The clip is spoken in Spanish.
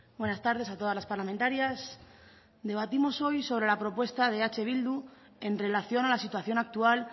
buenas tardes a todas las parlamentarias debatimos hoy sobre la propuesta de eh bildu en relación a la situación actual